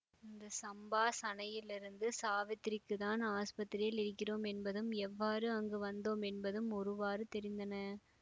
இந்த சம்பாஷணையிலிருந்து சாவித்திரிக்குத் தான் ஆஸ்பத்திரியில் இருக்கிறோம் என்பதும் எவ்வாறு அங்கு வந்தோம் என்பதும் ஒருவாறு தெரிந்தன